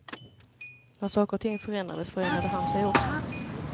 När saker och ting förändrades, förändrade han sig också.